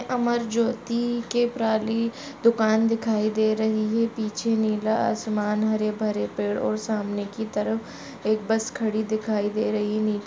अमर ज्योती के प्राली दुकान दिखाई दे रही है। पीछे नीला आसमान हरे भरे पेड़ और सामने की तरफ एक बस खड़ी दिखाई दे रही है नीली।